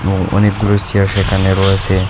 এবং অনেকগুলো চেয়ার সেখানে রয়েসে ।